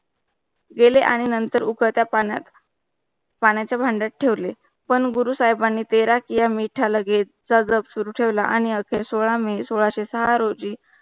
गेले आणि नंतर उखळत्या पाण्यात, पाण्याच्या भांड्यात ठेवले पण गुरु साहिबांना तेरा किया मीठा लगे चा जाप सुरू ठेवला आणि अशे सोळा may सोळाशे सहा रोजी